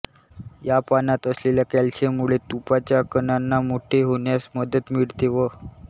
या पानात असलेल्या कॅल्शियममुळे तुपाच्या कणांना मोठे होण्यास मदत मिळते व